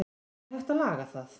er hægt að laga það